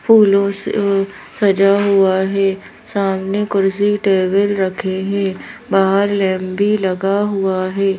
फूलों से अअ सजा हुआ है सामने कुर्सी टेबल रखे हैं बाहर लैंब भी लगा हुआ है।